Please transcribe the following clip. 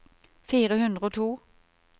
fire hundre og to